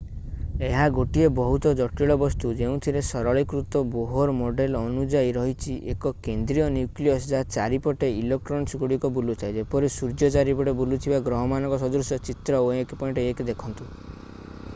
ଏହା ଗୋଟିଏ ବହୁତ ଜଟିଳ ବସ୍ତୁ ଯେଉଁଥିରେ ସରଳୀକୃତ ବୋହର୍ ମଡେଲ୍ ଅନୁଯାୟୀ ରହିଛି ଏକ କେନ୍ଦ୍ରୀୟ ନ୍ୟୁକ୍ଲିୟସ୍ ଯାହା ଚାରିପଟେ ଇଲେକ୍ଟ୍ରନ୍‌ଗୁଡ଼ିକ ବୁଲୁଥାଏ ଯେପରି ସୂର୍ଯ୍ୟ ଚାରିପଟେ ବୁଲୁଥିବା ଗ୍ରହମାନଙ୍କ ସଦୃଶ - ଚିତ୍ର 1.1 ଦେଖନ୍ତୁ।